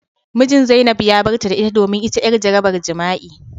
Mijin zainab ya barta da ita domin ita yar jarabar jima'i.